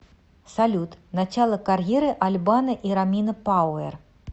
салют начало карьеры аль бано и ромина пауэр